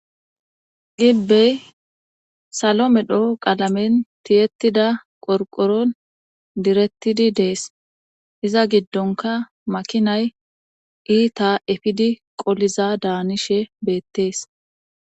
Gibbey salo medho qalamen tiyettida qorqoron direttidi dees iza giddonka makinay iita efidi qoliza daanishe beettees.